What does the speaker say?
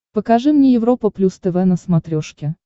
покажи мне европа плюс тв на смотрешке